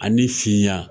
Ani finya